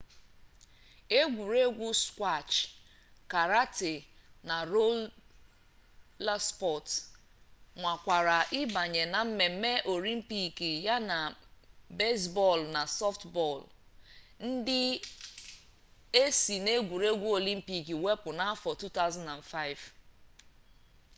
egwuregwu skwash karate na rola spọts nwakwara ịbanye na mmemme olympic yana bezbọọlụ na sọftbọọlụ ndị e si n'egwuregwu olympic wepụ n'afọ 2005